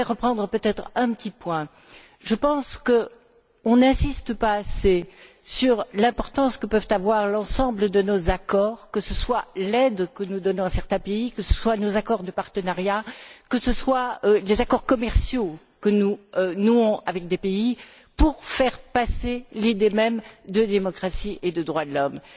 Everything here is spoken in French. Je voudrais peut être reprendre un petit point je pense que l'on n'insiste pas assez sur l'importance que peut avoir l'ensemble de nos accords que ce soit l'aide que nous donnons à certains pays, que ce soient nos accords de partenariat, que ce soient les accords commerciaux que nous nouons avec des pays pour faire passer l'idée même de démocratie et de droits de l'homme.